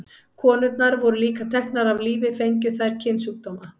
Konurnar voru líka teknar af lífi fengju þær kynsjúkdóma.